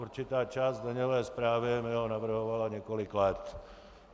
Určitá část daňové zprávy mi ho navrhovala několik let.